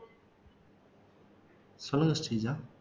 சொல்லுங்க ஸ்ரீஜா